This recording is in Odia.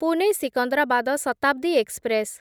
ପୁନେ ସିକନ୍ଦରାବାଦ ଶତାବ୍ଦୀ ଏକ୍ସପ୍ରେସ୍